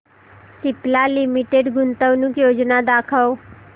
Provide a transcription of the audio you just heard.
Cipla limited गुंतवणूक योजना दाखव